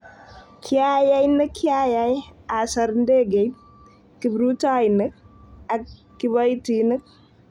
Kiayai ne kiayai, asor ndegeit, kiprutoinik ak kiboitinik".